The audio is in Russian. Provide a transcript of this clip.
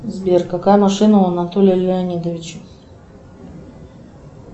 сбер какая машина у анатолия леонидовича